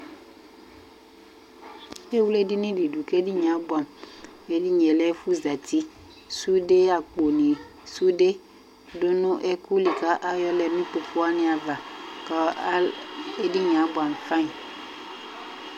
Ewle edini dɩ dʋ, kʋ edini yɛ abʋɛ amʋ, kʋ edini yɛ lɛ ɛfʋzati, sude, akponɩ, sude dʋ ɛkʋ li kʋ ayɔ lɛ nʋ ikpoku wanɩ ava, kʋ edini yɛ abʋɛ amʋ fayɩ